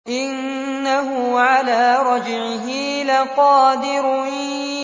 إِنَّهُ عَلَىٰ رَجْعِهِ لَقَادِرٌ